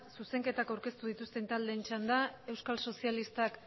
zuzenketa aurkeztu dituzten taldeen txanda euskal sozialistak